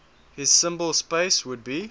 his symbol space would be